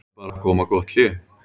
Nú er bara að koma gott hlé.